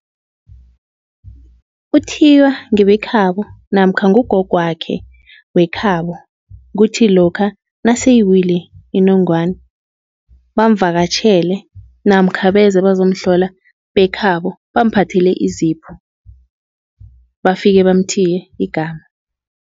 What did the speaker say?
Uthiywa ngebekhabo namkha ngugogwakhe wekhabo. Kuthi lokha naseyiwile inongwana, bamvakatjhele namkha beze bazomhlola bekhabo bamphathele izipho, bafike bamthiye igama.